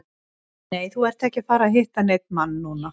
Nei, þú ert ekki að fara að hitta neinn mann núna.